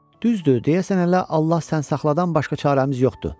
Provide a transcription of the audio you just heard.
Düzdür, deyəsən hələ Allah sən saxladan başqa çarəmiz yoxdur.